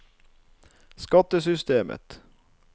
skattesystemet